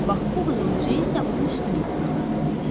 Bax bu qızıl üzüyü isə onun üstündən taxırdı.